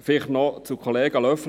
Vielleicht noch zu Kollege Löffel.